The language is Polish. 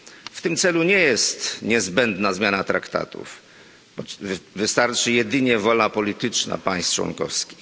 W tym celu nie jest niezbędna zmiana traktatów wystarczy jedynie wola polityczna państw członkowskich.